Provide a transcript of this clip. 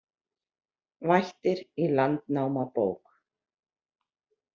Vættir í Landnámabók